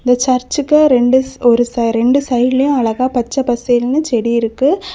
இந்த சர்ச்சுக்கு ரெண்டு ஒரு ரெண்டு சைடுலயு அழகா பச்ச பசேல்னு செடி இருக்கு.